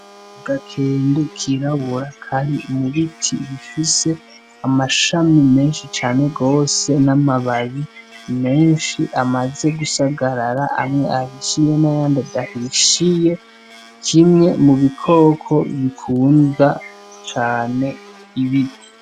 Agakende kirabura kari mu biti bifise amashami menshi cane gose, n'amababi menshi amaze gusagarara, amwe ahishiye n'ayandi adahishiye. Ni kimwe mu bikoko bikunda cane ibiti.